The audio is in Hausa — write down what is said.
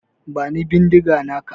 Bani bindiga naka.